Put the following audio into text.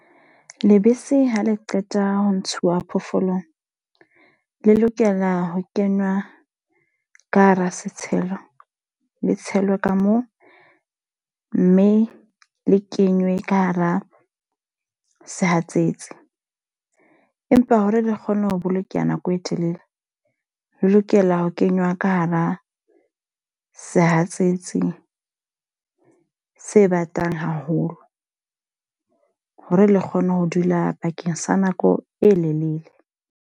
Lebese ha le qeta ho ntshuwa phoofolong. Le lokela ho kenwa ka hara setshelo, le tshelwe ka moo. Mme le kenywe ka hara sehatsetsi. Empa hore le kgone ho bolokeha nako e telele, le lokela ho kenywa ka hara sehatsetsi se batang haholo. Hore le kgone ho dula bakeng sa nako e lelele.